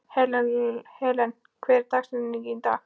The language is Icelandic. Helen, hver er dagsetningin í dag?